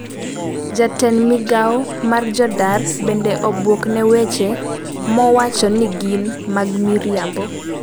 Jatend migao mar jodar bende obuok ne weche mowacho ni gin mag miriambo